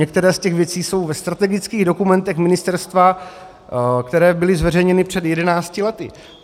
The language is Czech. Některé z těch věcí jsou ve strategických dokumentech ministerstva, které byly zveřejněny před jedenácti lety.